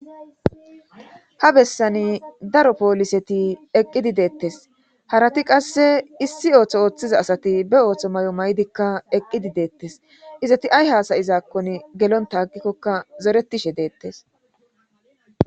ha bessani daro pooliseti eqqidi deettes harati qasse issi ooththo ooththiza asati be ooththo may7o may7dikka eqqidi deettes izati ay haasayizaakkon gelonta agikkokka zoretishe deettes